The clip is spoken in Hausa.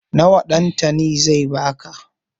Nawa Ɗantani zai ba ka?